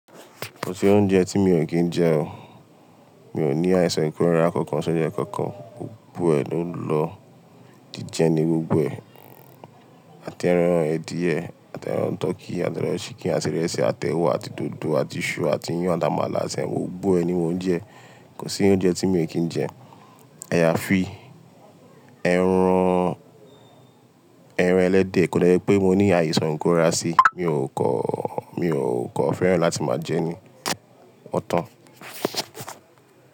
Kò sí oúnjẹ tí mi ò kí ń jẹ o. Mi ò ní àìsàn ikóra kankan, ṣóńjẹ kankan. Gbogbo ẹ̀ ń lọ, jíjẹ ni gbogbo ẹ̀. Àti ẹran ẹdíyẹ, àti ẹran tọkí, àti ẹran ṣíkìn, àti ìrẹsì, àti ẹwà àti dòdò àti iṣu àti iyán, àta àmàlà semo gbogbo ẹ ni móúnjẹ. Kò sí oúnjẹ tí mi ò kí ń jẹ. Ẹya fi, ẹran, ẹran ẹlẹ́dẹ̀ kò dọ̀ọ̀ pé mo ní àìsàn ikóra sí, mi ò kọ́, mi ò kọ́ fẹ́ràn láti máa jẹ ni.